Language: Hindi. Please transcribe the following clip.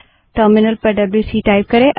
टर्मिनल विंडो पर डब्ल्यू सी टाइप करें